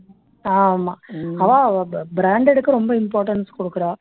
ஆமா அவா பா branded க்கு ரொம்ப importance குடுக்குறா